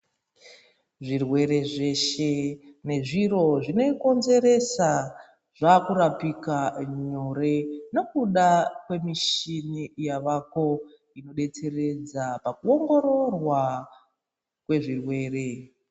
Zvirwere zveshe nezviro zvinozvikonzeresa zvaakurapika nyore ngekuda kwemichina yaako inodetseredza pakuongororwa kwezvirwere.